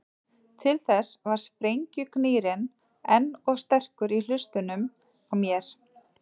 Til þess var sprengjugnýrinn enn of sterkur í hlustunum á mér.